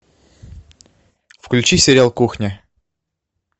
включи сериал кухня